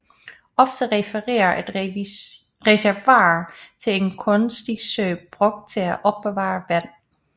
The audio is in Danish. Ofte refererer et reservoir til en kunstig sø brugt til at opbevare vand